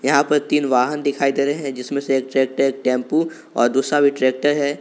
यहां पर तीन वाहन दिखाई दे रहे हैं जिसमें एक ट्रैक्टर एक टेंपू और दूसरा भी ट्रैक्टर है।